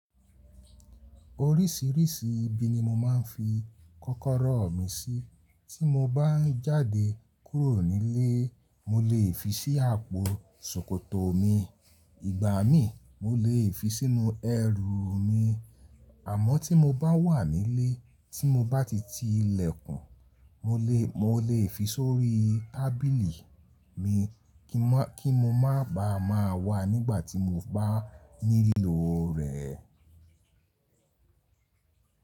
Orísìírísìí ibi ni mo máa ń fi kọ́kọ́rọ́ mi sí tí mo bá ń jáde kúrò nílé. Mo lè fi sí àpò ṣòkòtò mi, ìgbà mí mo lè fi sínú ẹrù mi. Àmọ́ tí mo bá wà nílé tí mo bá ti ti ilẹ̀kùn, mo lè, mo lè fi sórí tábìlì kí mo má bàa má wà nígbà tí mo bá nílò rẹ̀.